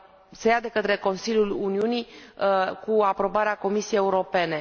se ia de către Consiliul Uniunii, cu aprobarea Comisiei Europene.